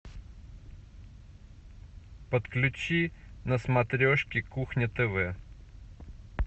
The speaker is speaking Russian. подключи на смотрешке кухня тв